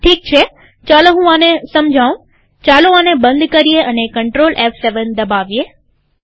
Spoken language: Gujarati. ઠીક છેચાલો હું આને સમજાઉંચાલો આને બંધ કરીએ અને CTRLF7 દબાવીએ